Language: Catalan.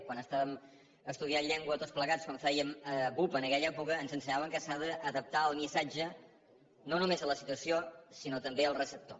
quan estàvem estudiant llengua tots plegats quan fèiem bup en aquella època ens ensenyaven que s’ha d’adaptar el missatge no només a la situació sinó també al receptor